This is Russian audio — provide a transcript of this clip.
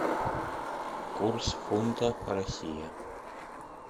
курс фунта россия